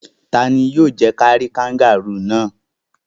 Ta ni yóò jẹ́ kí a rí kangárù náà?